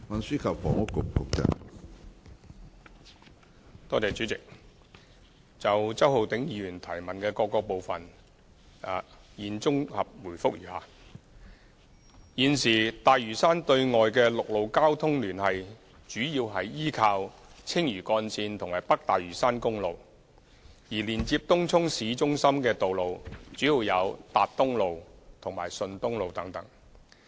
主席，就周浩鼎議員質詢的各個部分，現答覆如下：一現時大嶼山對外的陸路交通聯繫主要依靠青嶼幹線和北大嶼山公路，而連接東涌市中心的道路主要有達東路和順東路等。